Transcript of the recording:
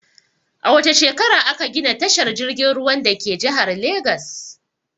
A wace shekara a ka gina tashar jirgin ruwan dake jihar Legas?